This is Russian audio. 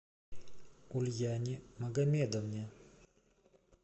ульяне магомедовне